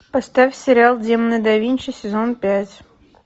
поставь сериал демоны да винчи сезон пять